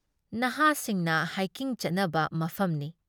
ꯅꯍꯥꯁꯤꯡꯅ ꯍꯥꯏꯀꯤꯡ ꯆꯠꯅꯕ ꯃꯐꯝꯅꯤ ꯫